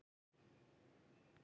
Þér er óhætt að trúa því.